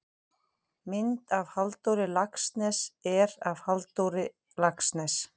mynd af halldóri laxness er af halldór laxness